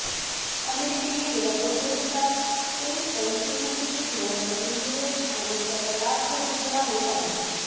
अमेरिकेने गेल्या दोन दशकात तेल स्वयंपूर्णतेचे धोारण अवलंबिले आणि त्याचा लाभ त्या देशाला होत आहे